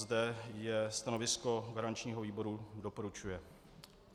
Zde je stanovisko garančního výboru - doporučuje.